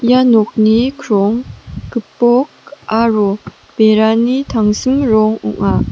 ia nokni krong gipok aro berani tangsim rong ong·a.